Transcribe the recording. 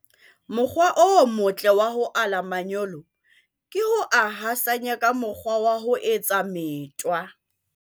Mokgwa o motle wa ho ala manyolo ke ho a thasanya ka mokgwa wa ho etsa metwa.